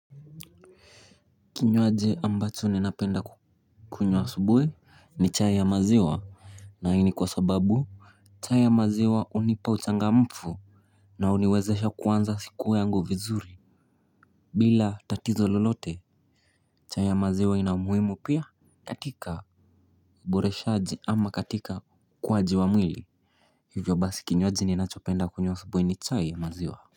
Kinywaji ambacho ninapenda kukunywa asubuhi ni chai ya maziwa. Na hii ni kwa sababu chai ya maziwa hunipa uchangamfu. Na huniwezesha kuanza siku yangu vizuri. Bila tatizo lolote. Chai ya maziwa ina umuhimu pia katika uboreshaji ama katika ukuwaji wa mwili. Hivyo basi kinywaji ninachopenda kunywa asubuhi ni chai ya maziwa.